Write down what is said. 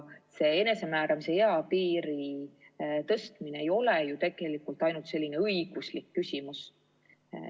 Enesemääramise eapiiri tõstmine ei ole ju ainult õiguslik küsimus.